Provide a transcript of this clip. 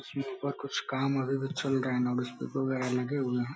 कुछ काम अभी भी चल रहे है। वगेरा लगे हुए हैं।